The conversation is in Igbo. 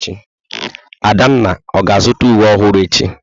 Adanna ọ ga-azụta uwe ọhụrụ echi?